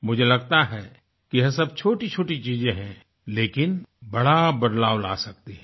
मुझे लगता है कि यह सब छोटी छोटी चीजें है लेकिन बड़ा बदलाव ला सकती हैं